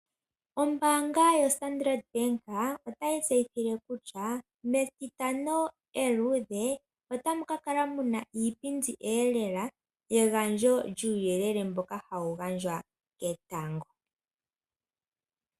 Ombaanga yoStandard banka otayi tse yithile kutya metitano eluudhe otamu kakala muna iipindi eelela we gandjo lyuu yelele mboka hawu gandjwa ketango.